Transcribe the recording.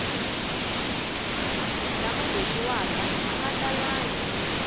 lama boxiwaka a ma talangi